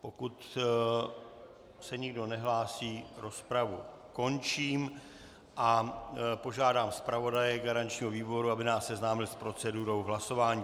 Pokud se nikdo nehlásí, rozpravu končím a požádám zpravodaje garančního výboru, aby nás seznámil s procedurou hlasování.